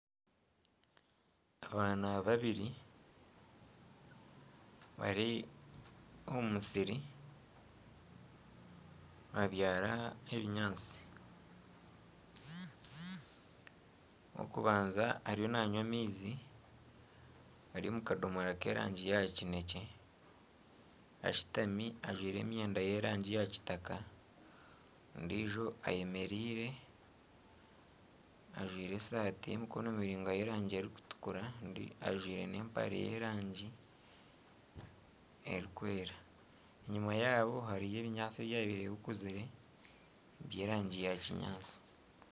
Abaana babiri bari omu musiri nibabyara ebinyaatsi, ow’okubanza ariyo nanywa amaizi gari omu kadoomora k'erangi ya kinekye ashutami ajwaire emyenda y'erangi ya kitaka ondijo ayemereire ajwaire esaati y'emikono miraingwa y'erangi erikutukura kandi ajwaire n'empare y'erangi erikwera enyuma yaabo hariyo ebinyaatsi ebyabaire bikuzire by'erangi ya kinyaatsi.